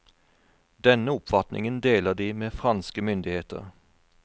Denne oppfatningen deler de med franske myndigheter.